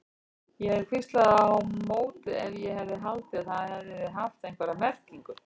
Ég hefði hvíslað á móti ef ég hefði haldið að það hefði haft einhverja merkingu.